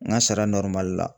N ka sara la.